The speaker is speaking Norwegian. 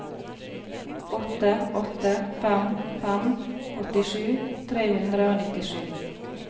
åtte åtte fem fem åttisju tre hundre og nittisju